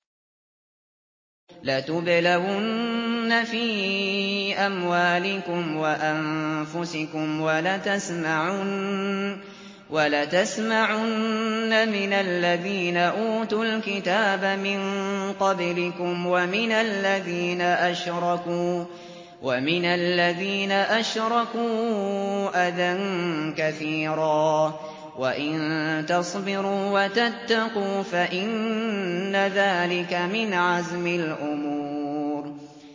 ۞ لَتُبْلَوُنَّ فِي أَمْوَالِكُمْ وَأَنفُسِكُمْ وَلَتَسْمَعُنَّ مِنَ الَّذِينَ أُوتُوا الْكِتَابَ مِن قَبْلِكُمْ وَمِنَ الَّذِينَ أَشْرَكُوا أَذًى كَثِيرًا ۚ وَإِن تَصْبِرُوا وَتَتَّقُوا فَإِنَّ ذَٰلِكَ مِنْ عَزْمِ الْأُمُورِ